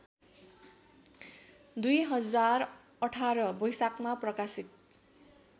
२०१८ वैशाखमा प्रकाशित